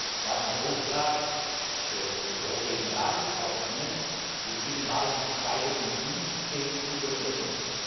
Wir haben den Auftrag des Europäischen Rates, auch von Ihnen, den Binnenmarkt 2015 zu vollenden.